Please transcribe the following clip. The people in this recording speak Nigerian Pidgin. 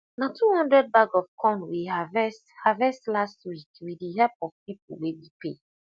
na two hundred bag of corn we harvest harvest last week with the help of people wey we pay